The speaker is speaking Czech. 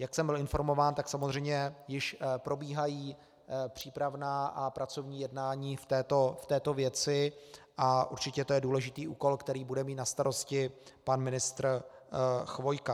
Jak jsem byl informován, tak samozřejmě již probíhají přípravná a pracovní jednání v této věci a určitě to je důležitý úkol, který bude mít na starosti pan ministr Chvojka.